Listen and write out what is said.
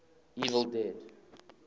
evil dead